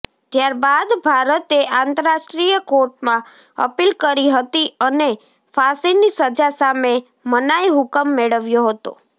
ત્યારબાદ ભારતે આંતરરાષ્ટ્રીય કોર્ટમાં અપીલ કરી હતી અને ફાંસીની સજા સામે મનાઈ હુકમ મેળવ્યો હતો